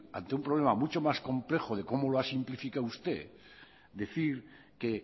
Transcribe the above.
ante un problema mucho más complejo de cómo lo ha simplificado usted decir que